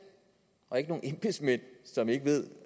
og ikke nogle embedsmænd som ikke ved